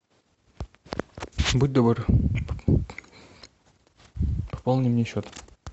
будь добр пополни мне счет